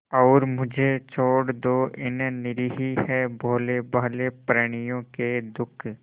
और मुझे छोड़ दो इन निरीह भोलेभाले प्रणियों के दुख